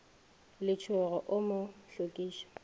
le letsogo o mo hlokiša